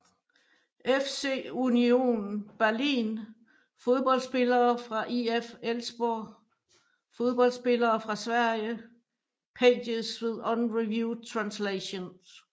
FC Union Berlin Fodboldspillere fra IF Elfsborg Fodboldspillere fra Sverige Pages with unreviewed translations